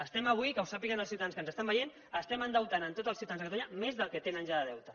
estem avui que ho sàpiguen els ciutadans que ens estan veient estem endeutant tots els ciutadans de catalunya més del que tenen ja de deutes